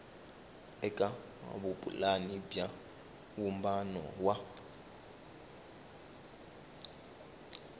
eka vupulani bya vumbano wa